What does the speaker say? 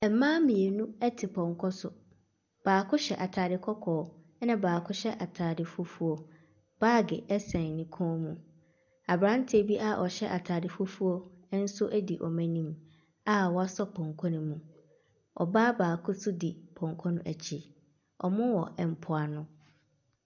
Mmaa mmienu te pɔnkɔ so. Baako hyɛ atade kɔkɔɔ. Ɛna baako hyɛ atade fufuo. Baage sɛn ne kɔn mu. Aberanteɛ bi a ɔhyɛ atade fufuo nso di wɔn anim a wasɔ pɔnkɔ no mu. Ɔbaa baako di pɔnkɔ no akyi. Wɔwɔ mpoano.